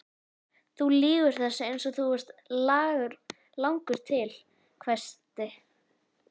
Þú lýgur þessu eins og þú ert langur til, hvæsti